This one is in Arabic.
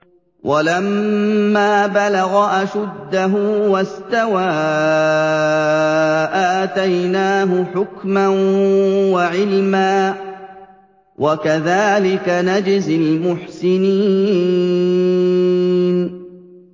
وَلَمَّا بَلَغَ أَشُدَّهُ وَاسْتَوَىٰ آتَيْنَاهُ حُكْمًا وَعِلْمًا ۚ وَكَذَٰلِكَ نَجْزِي الْمُحْسِنِينَ